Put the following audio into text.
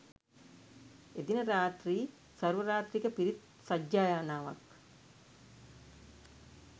එදින රාත්‍රී සර්වරාත්‍රික පිරිත් සජ්ඣායනාවක්